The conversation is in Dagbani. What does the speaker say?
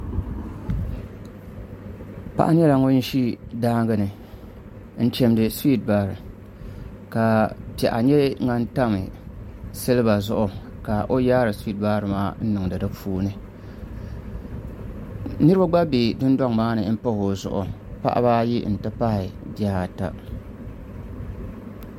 Paɣa nyɛla ŋun ʒi daangi ni n chimdi suwiit baari ka piɛɣu nyɛ din tam silba zuɣu ka o yaari suwiit baari maa n niŋdi di puuni niraba gba bɛ dundoŋ maa ni pahi o zuɣu paɣaba ayi n ti pahi bihi